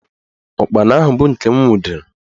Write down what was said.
Ụkpana ahụ bụ nke m nwudere